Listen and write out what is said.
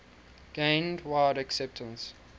gained wide acceptance